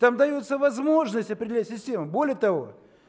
там даётся возможность определять систему более того